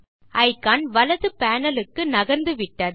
icon வலது panel க்கு நகர்ந்து விட்டது